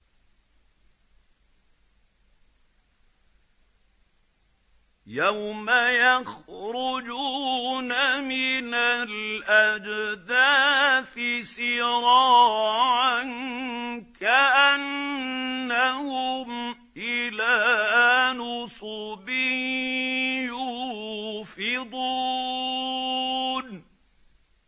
يَوْمَ يَخْرُجُونَ مِنَ الْأَجْدَاثِ سِرَاعًا كَأَنَّهُمْ إِلَىٰ نُصُبٍ يُوفِضُونَ